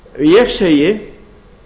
ég segi